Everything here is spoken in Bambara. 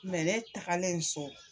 ne tagalen so.